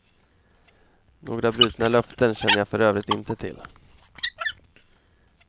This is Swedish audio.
Några brutna löften känner jag för övrigt inte till.